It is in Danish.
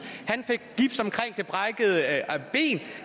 han fik gips omkring det brækkede at